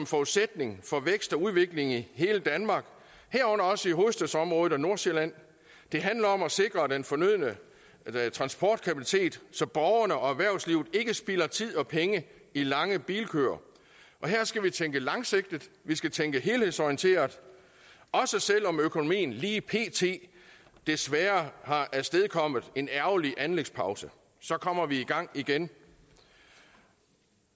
forudsætning for vækst og udvikling i hele danmark herunder også i hovedstadsområdet og nordsjælland det handler om at sikre den fornødne transportkapacitet så borgerne og erhvervslivet ikke spilder tid og penge i lange bilkøer her skal vi tænke langsigtet vi skal tænke helhedsorienteret og selv om økonomien lige pt desværre har afstedkommet en ærgerlig anlægspause kommer vi i gang igen